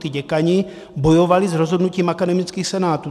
Ti děkani bojovali z rozhodnutí akademických senátů.